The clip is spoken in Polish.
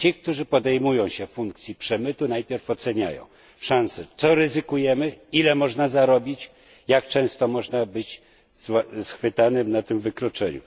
Ci, którzy podejmują się przemytu, najpierw oceniają swoje szanse co ryzykują, ile można zarobić, jak często można być schwytanym na tym wykroczeniu.